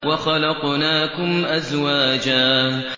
وَخَلَقْنَاكُمْ أَزْوَاجًا